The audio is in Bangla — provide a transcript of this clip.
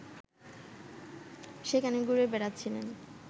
সেখানে ঘুরে বেড়াচ্ছিলেন